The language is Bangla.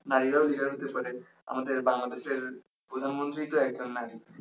নারীরাও leader হতে পারে আমাদের বাংলাদেশের প্রধানমন্ত্রী তো একজন নারী